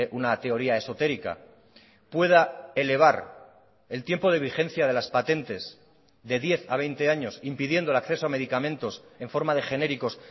una teoría esotérica pueda elevar el tiempo de vigencia de las patentes de diez a veinte años impidiendo el acceso a medicamentos en forma de genéricos